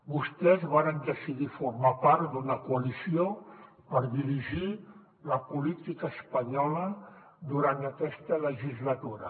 vostès varen decidir formar part d’una coalició per dirigir la política espanyola durant aquesta legislatura